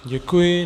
Děkuji.